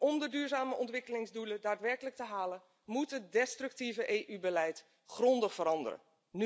Om de duurzame ontwikkelingsdoelen daadwerkelijk te halen moet het destructieve EU beleid grondig veranderen.